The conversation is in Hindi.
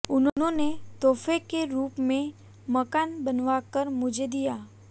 उन्होंने तोहफे के रूप में मकान बनवाकर मुझे दिया